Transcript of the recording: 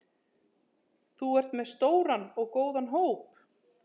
Þú ert með stóran og góðan hóp?